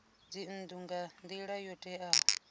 dzinnu nga nila yo teaho